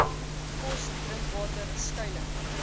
kos drinkwater skuiling